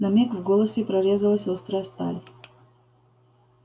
на миг в голосе прорезалась острая сталь